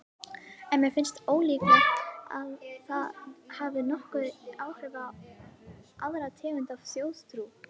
En mér finnst ólíklegt að það hafi nokkur áhrif á aðra tegund af þjóðtrú.